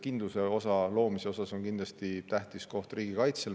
Kindluse loomisel on kindlasti tähtis koht riigikaitsel.